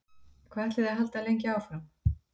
Hvað ætlið þið að halda lengi áfram?